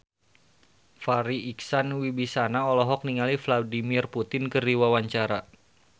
Farri Icksan Wibisana olohok ningali Vladimir Putin keur diwawancara